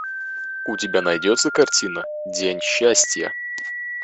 у тебя найдется картина день счастья